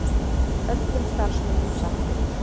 Öllum starfsmönnum sagt upp